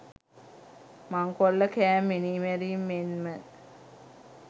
මංකොල්ලකෑම් මිනීමැරීම් මෙන්ම